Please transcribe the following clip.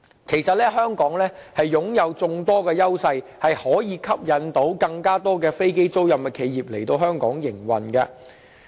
其實，香港擁有眾多優勢，可以吸引更多飛機租賃企業來香港營運。